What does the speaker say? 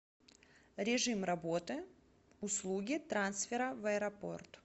режим работы услуги трансфера в аэропорт